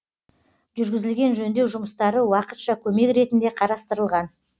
жүргізілген жөндеу жұмыстары уақытша көмек ретінде қарастырылған